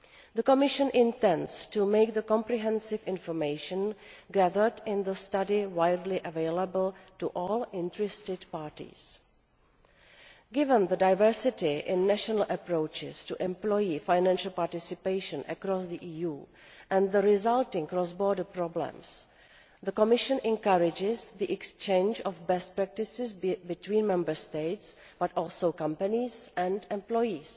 The Commission intends to make the comprehensive information gathered in the study widely available to all interested parties. Given the diversity in national approaches to employee financial participation across the EU and the resulting cross border problems, the Commission encourages the exchange of best practices, be it between Member States but also between companies and employees.